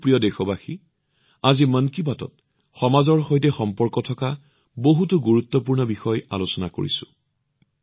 মোৰ মৰমৰ দেশবাসীসকল আজি মন কী বাতত সমাজৰ সৈতে সম্পৰ্কিত বহুতো গুৰুত্বপূৰ্ণ বিষয় আলোচনা কৰিছো